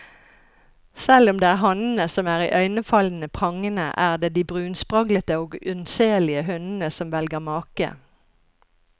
Selv om det er hannene som er iøynefallende prangende, er det de brunspraglete og unnselige hunnene som velger make.